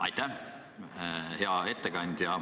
Aitäh!